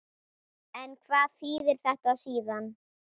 En hvað þýðir þetta síðan?